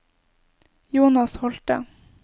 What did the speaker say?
Jonas Holte